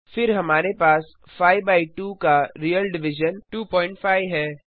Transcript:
फिर हमारे पास 5 बाय 2 का रियल डिविजन 250 है